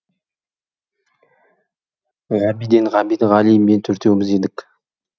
ғабиден ғабит ғали мен төртеуміз едік